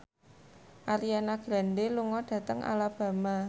Ariana Grande lunga dhateng Alabama